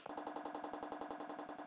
Og á því!